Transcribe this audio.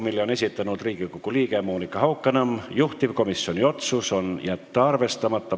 Selle on esitanud Riigikogu liige Monika Haukanõmm, juhtivkomisjoni otsus: jätta arvestamata.